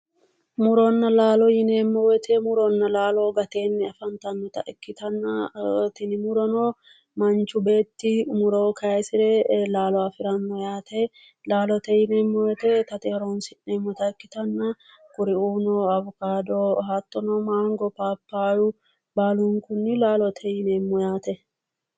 Muronna laalo yineemo woyite muronna laalo gateenni afanitannota ikkitanna tini murona manichu beetti muro kayisire laalo afiranno yaate laalote yineemo woyite itate horonis'neemota ikkitanna kuriuu awokaado hattono manigo papayyu Baalunknni laalote yineemo yaate